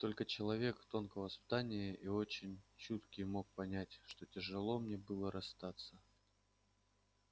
только человек тонкого воспитания и очень чуткий мог понять как тяжело мне было расстаться